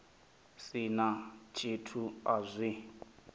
si na tshithu a zwo